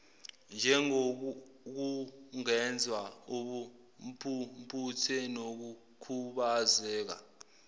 njengokungezwa ubumpumputhe nokukhubazeka